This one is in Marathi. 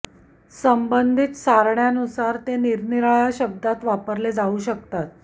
संबंधित सारण्यांनुसार ते निरनिराळ्या शब्दांत वापरले जाऊ शकतात